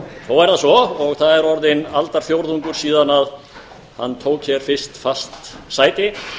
þó er það svo og það er orðinn aldarfjórðungur síðan hann tók hér fyrst fast sæti